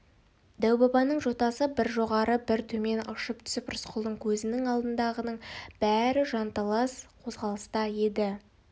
дәу-бабаның жотасы бір жоғары бір төмен ыршып түсіп рысқұлдың көзінің алдындағының бәрі жанталас қозғалыста еді